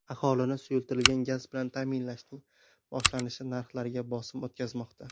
Aholini suyultirilgan gaz bilan ta’minlashning boshlanishi narxlarga bosim o‘tkazmoqda.